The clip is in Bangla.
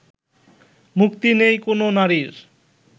মুক্তি নেই কোনও নারীর